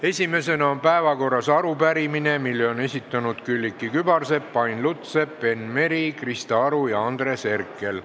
Esimesena on päevakorras arupärimine, mille on esitanud Külliki Kübarsepp, Ain Lutsepp, Enn Meri, Krista Aru ja Andres Herkel.